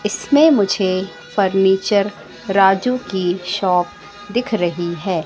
इसमें मुझे फर्नीचर राजू की शॉप दिख रही है।